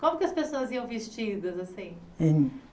Como que as pessoas iam vestidas assim? Em